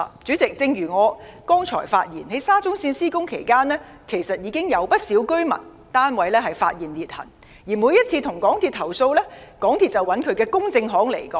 主席，正如我剛才所說，在沙中線項目施工期間，其實已經有不少居民發現單位出現裂痕，而每次向港鐵公司投訴，港鐵公司便交由其公證行回應。